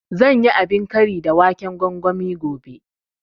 Zan yi abin kari da waken gwangwani gobe